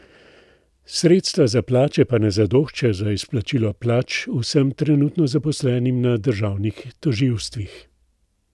Sredstva za plače pa ne zadoščajo za izplačila plač vsem trenutno zaposlenim na državnih tožilstvih.